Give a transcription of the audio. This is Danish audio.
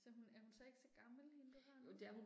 Så hun, er hun så ikke så gammel hende du har nu?